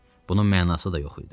Bunun mənası da yox idi.